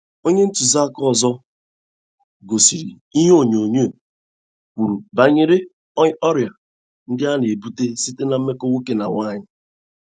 Onye tụziaka ọzọ gosiri ihe onyonyo kwuru banyere ọrịa ndị a na - ebute site ná mmekọ nwoke na nwanyi.